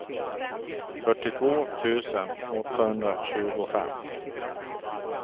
fyrtiotvå tusen åttahundratjugofem